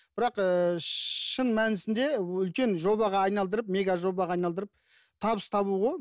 бірақ ыыы шын мәнісінде үлкен жобаға айналдырып мега жобаға айналдырып табыс табу ғой